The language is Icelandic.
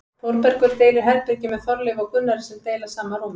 Þórbergur deilir herbergi með Þorleifi og Gunnari sem deila sama rúmi.